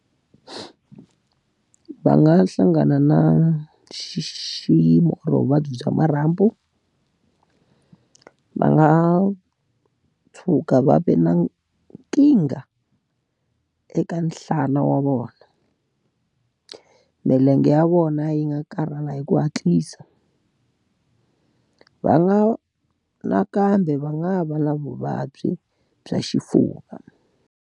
Va nga hlangana na xiyimo or vuvabyi bya marhambu. Va nga tshuka va va na nkingha eka nhlana wa vona. Milenge ya vona yi nga karhala hi ku hatlisa. Va nga nakambe va nga va na vuvabyi bya xifuva.